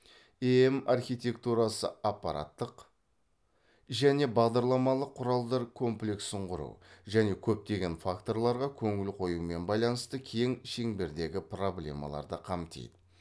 эем архитектурасы апараттық және бағдарламалық құралдар комплексін құру және көптеген факторларға көңіл қоюмен байланысты кең шеңбердегі проблемаларды қамтиды